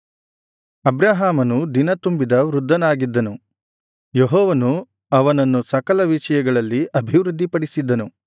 ಅಬ್ರಹಾಮನು ದಿನ ತುಂಬಿದ ವೃದ್ಧನಾಗಿದ್ದನು ಯೆಹೋವನು ಅವನನ್ನು ಸಕಲ ವಿಷಯಗಳಲ್ಲಿ ಅಭಿವೃದ್ಧಿಪಡಿಸಿದ್ದನು